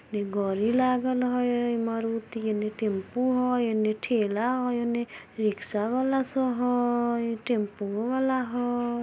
एक गाड़ी लागल हेय मारुति एन्ने टेंपो हेय एन्ने ठेला हेय एन्ने रिक्शावाला सब हेय टेंपू वाला हेय|